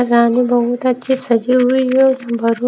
रानी बहुत अच्छी सजी हुई है और